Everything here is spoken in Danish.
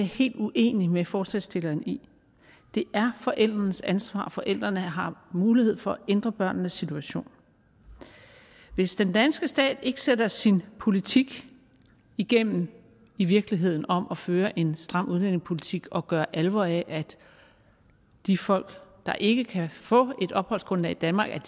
helt uenig med forslagsstillerne i det er forældrenes ansvar og forældrene har mulighed for at ændre børnenes situation hvis den danske stat ikke sætter sin politik igennem i virkeligheden om at føre en stram udlændingepolitik og gøre alvor af at de folk der ikke kan få et opholdsgrundlag i danmark